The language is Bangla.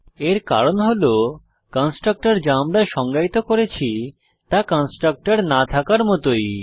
এর কারণ হল কনস্ট্রাক্টর যা আমরা সংজ্ঞায়িত করেছি তা কনস্ট্রাক্টর না থাকার মতই